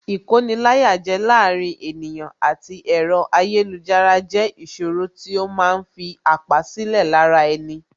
Ìkoni-láyàjẹ láàárín ènìyàn àti ẹ̀rọ ayélujára jẹ́ ìṣòro tí ó ma ń fi àpá sílẹ̀ lára ẹni